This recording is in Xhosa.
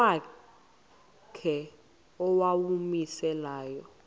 ngokwakhe owawumise layo